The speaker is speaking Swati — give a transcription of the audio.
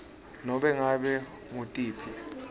nobe ngabe ngutiphi